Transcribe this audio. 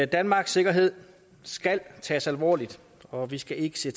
danmarks sikkerhed skal tages alvorligt og vi skal ikke se